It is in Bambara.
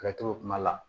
Ka to kuma la